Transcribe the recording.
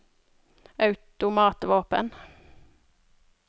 automatvåpen